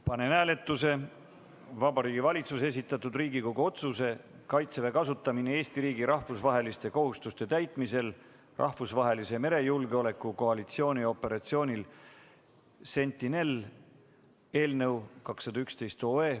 Panen hääletusele Vabariigi Valitsuse esitatud Riigikogu otsuse "Kaitseväe kasutamine Eesti riigi rahvusvaheliste kohustuste täitmisel rahvusvahelise merejulgeoleku koalitsiooni operatsioonil Sentinel" eelnõu 211.